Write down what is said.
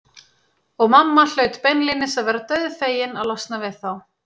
Og mamma hlaut beinlínis að vera dauðfegin að losna við þá.